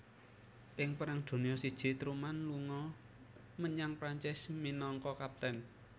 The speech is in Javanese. Ing Perang Donya I Truman lunga menyang Prancis minangka Kapten